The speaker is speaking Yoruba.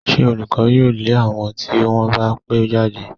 Ṣé olùkọ́ yóò lé àwọn tí wọ́n bá pẹ́ jáde?